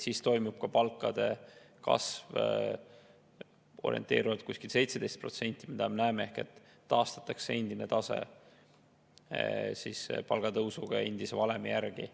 Siis toimub palkade kasv orienteeruvalt 17% ehk taastatakse palgatõusud endise valemi järgi.